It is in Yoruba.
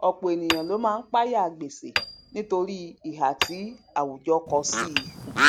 ọpọ ẹnìyàn ló ma ń páyà gbèsè nítorí ìhà tí àwùjọ kọ sí